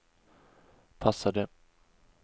passade